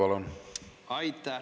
Aitäh!